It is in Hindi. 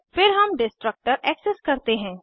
फिर हम डिस्ट्रक्टर एक्सेस करते हैं